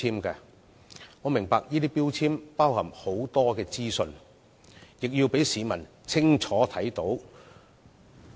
有關標籤載列很多資訊，亦要讓市民清楚看到。